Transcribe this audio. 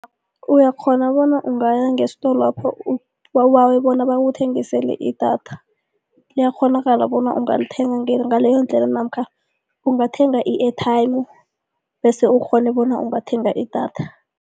Uyakghona bona ungaya ngesitolwapho ubawe bona bakuthengisele i-data, liyakghonakala bona ungalithenga ngaleyondlela namkha ungathenga i-airtime bese ukghone bona ungathenga idatha.